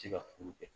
Ti se ka furu kɛ